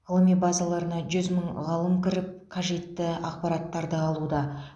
ғылыми базаларына жүз мың ғалым кіріп қажетті ақпараттарды алуда